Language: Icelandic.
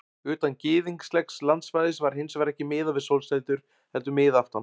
Utan gyðinglegs landsvæðis var hins vegar ekki miðað við sólsetur heldur við miðaftan.